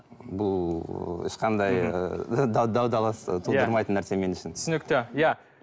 бұл ыыы ешқандай ы талас тудырмайтын нәрсе мен үшін түсінікті иә